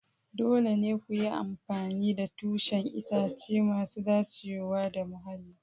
Dole ne ku yi amfani da tushen itace masu dacewa da muhalli.